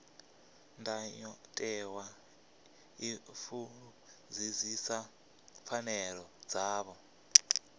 ndayotewa i fulufhedzisa pfanelo dzavho